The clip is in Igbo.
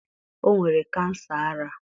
o nwere kansa ara.